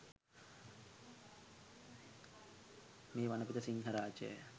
මේ වනපෙත සිංහරාජය